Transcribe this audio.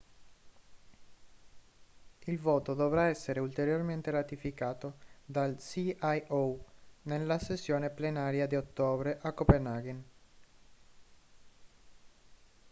il voto dovrà essere ulteriormente ratificato dal cio nella sessione plenaria di ottobre a copenaghen